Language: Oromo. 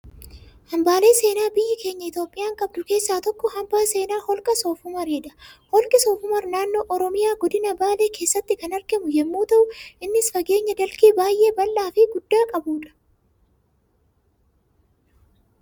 Hambaalee seenaa biyyi keenya Itoophiyaan qabdu keessaa tokko hambaa seenaa holqa soofumaridha. Holqi soofumar naannoo Oromiyaa godina baalee keessatti kan argamu yemmuu ta'u, innis fageenya dalgee baayyee baldhaa fi guddaa qabudha.